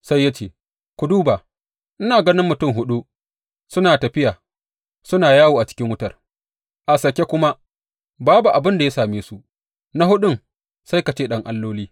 Sai ya ce, Ku duba ina ganin mutum huɗu suna tafiya suna yawo a cikin wutar, a sake kuma babu abin da ya same su, na huɗun sai ka ce ɗan alloli.